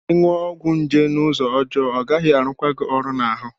Ị ṅụ ọgwụ nje n'ụzọ ọjọọ, ọ gaghị arụ kwa gị ọrụ n'ahụ.